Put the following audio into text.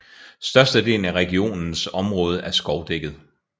Størstedelen af regionens området er skovdækket